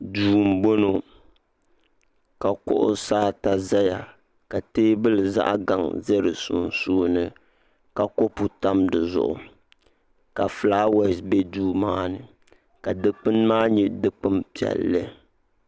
Duu bɔŋɔ ka kuɣusi ata zaya ka tɛɛbuli zaɣi gaŋa zɛ di sunsuuni ka kopu tam di zuɣu ka flawaasi bɛ duu maa ni ka dukpuni maa nyɛ dukpuni piɛlli